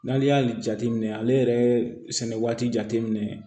N'ale y'ale jate minɛ ale yɛrɛ ye sɛnɛ waati jate minɛ